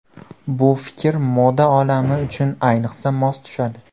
Bu fikr moda olami uchun ayniqsa mos tushadi.